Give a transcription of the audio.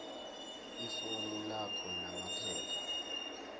ifomu lakho namaphepha